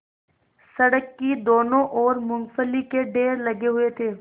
सड़क की दोनों ओर मूँगफली के ढेर लगे हुए थे